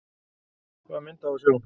Hvaða mynd á að sjá?